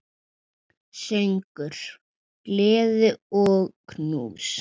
Söngur, gleði og knús.